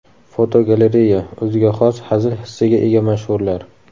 Fotogalereya: O‘ziga xos hazil hissiga ega mashhurlar.